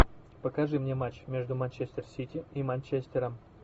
покажи мне матч между манчестер сити и манчестером